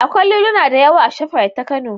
Akwai liluna da yawa a shafrait ta Kano